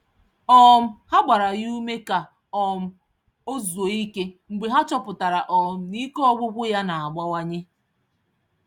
um Ha gbara ya ume ka um ọ zuo ike mgbe ha chọpụtara um na ike Ọgwụgwụ ya na-abawanye.